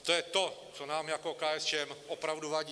A to je to, co nám jako KSČM opravdu vadí.